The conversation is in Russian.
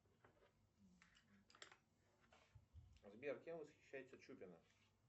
сбер кем восхищается чупина